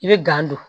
I bɛ don